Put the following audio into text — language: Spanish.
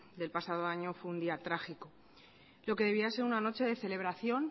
del pasado año fue un día trágico lo que debería ser una noche de celebración